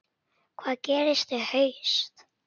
Hvað gerist í haust?